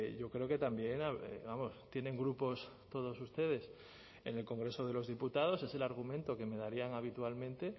yo creo que también tienen grupos todos ustedes en el congreso de los diputados es el argumento que me darían habitualmente